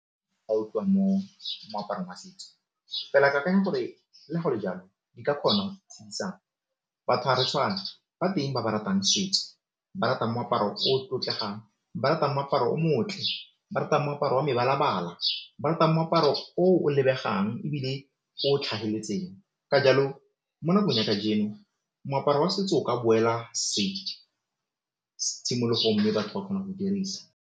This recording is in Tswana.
moaparo wa setso fela ke akanya gore le go le jalo di ka kgona go batho ga re tshwane, ba teng ba ba ratang setso, ba ratang moaparo o tlotlegang, ba ratang moaparo o motle, ba ratang moaparo wa mebalabala, ba ratang moaparo o o lebegang ebile o ka jalo mo nakong ya kajeno moaparo wa setso o ka boela tshimologong mme batho ba kgona go dirisa.